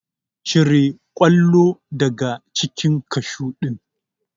Cire kwallo daga cikin kashu ɗin!